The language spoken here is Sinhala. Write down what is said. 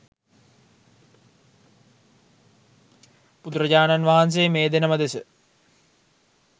බුදුරජාණන් වහන්සේ මේ දෙනම දෙස